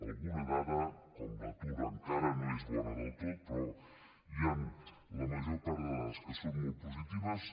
alguna dada com l’atur encara no és bona del tot però hi han la major part de dades que són molt positives